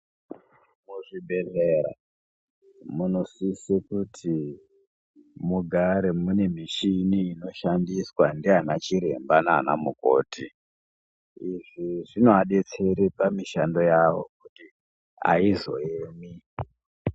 Muzvibhehlera munosise kuti mugare mune mishini inoshandiswa ndianachiremba nanamukoti izvi zvinoadetsere kuti mishando yawo aizoemi.